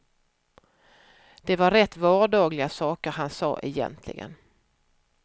Det var rätt vardagliga saker han sa egentligen.